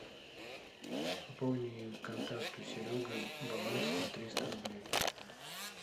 пополни контакту серега баланс на триста рублей